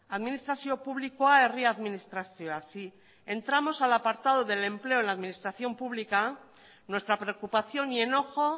administrazioa publikoa herri administrazioa si entramos al apartado del empleo en la administración pública nuestra preocupación y enojo